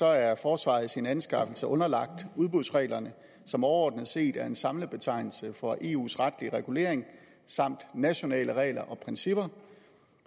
er forsvaret i sine anskaffelser underlagt udbudsreglerne som overordnet set er en samlet betegnelse for eus retlige regulering samt nationale regler og principper